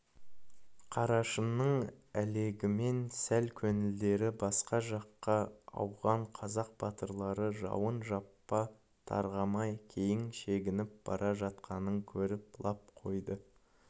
қарашыңның әлегімен сәл көңілдері басқа жаққа ауған қазақ батырлары жауының жапа-тармағай кейін шегініп бара жатқанын көріп лап қойды